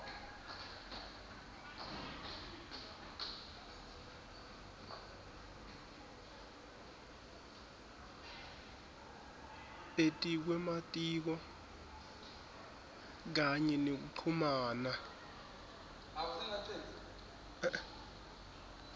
etikwematiko kanye nekuchumana